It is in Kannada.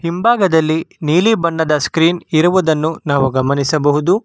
ಹಿಂಭಾಗದಲ್ಲಿ ನೀಲಿ ಬಣ್ಣದ ಸ್ಕ್ರೀನ್ ಇರುವುದನ್ನು ನಾವು ಗಮನಿಸಬಹುದು.